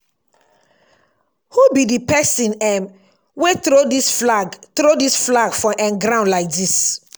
who be the person um wey throw dis flag throw dis flag for um ground like dis?